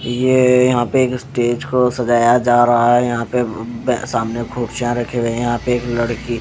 ये यहां पे एक स्टेज को सजाया जा रहा है यहां पे सामने खूब चाय रखे हुए हैं यहाँ पे एक लड़की--